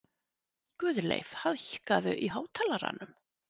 Guðleif, hækkaðu í hátalaranum.